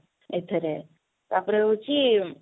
ଏଥିରେ ତାପରେ ହଉଛି